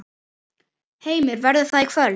Heimir: Verður það í kvöld?